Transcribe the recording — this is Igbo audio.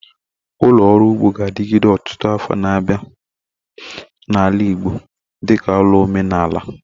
Ulo oru ugbo ga-adigide otutu afo na abia na ala Igbo dika ulo omenala